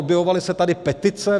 Objevovaly se tady petice.